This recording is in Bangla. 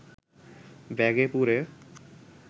ব্যাগে পুরে